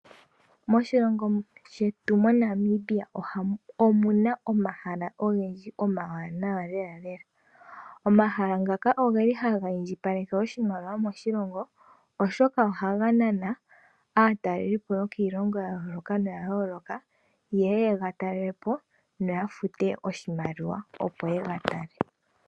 Moshilongo shetu omuna omahala ogendji omawanawa lela. Omahala ngaka oha ga indjipalekitha oshimaliwa moshilongo Oshoka ohaga nana aatalelipo taya zi kiilongo ya yoolokathana yeye yega talelepo. Eta ya futu oshimaliwa.